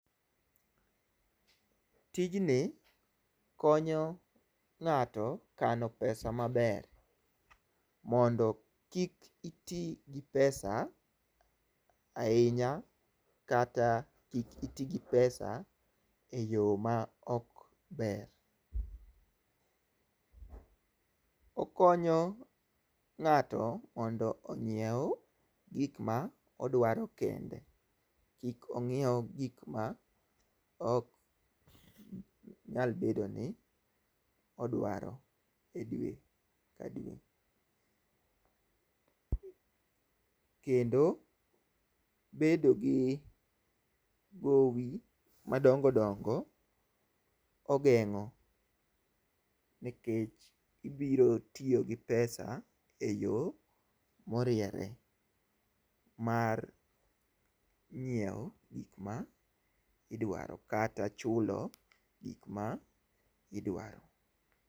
Tijni konyo ng'ato kano pesa maber, mondo kik itigi pesa ahinya kata kik itigi pesa e yo ma ok maber, okonyo ngato mondo onyiew gik ma odwaro kende kik onyiew gik ma ok nyal bedone ni odwaro dwe ka dwe, kendo bedo gi gowi madongo dongo ogengo' nikech ibiro tiyo gi pesa e yo moriere mar nyie'wo gik ma idwaro kata chulo gik ma idwaro.